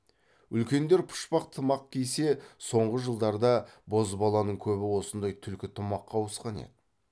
үлкендер пұшпақ тымақ кисе соңғы жылдарда бозбаланың көбі осындай түлкі тымаққа ауысқан еді